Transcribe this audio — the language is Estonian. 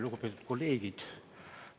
Lugupeetud kolleegid!